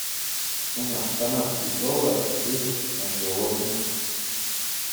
цена канадский доллар ливр на сегодня